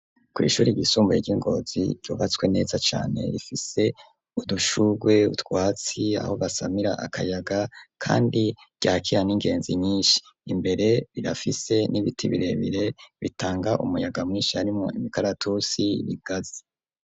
Kw'ishuri ryisumbuye, ry'i Ngozi, ryubatswe neza cane, rifise udushurwe, utwatsi, aho basamira akayaga, kandi, ryakira n'ingenzi nyinshi; imbere, rirafise n'ibiti, birebire, bitanga umuyaga mwinshi, harimwo imikaratusi, ibigazi.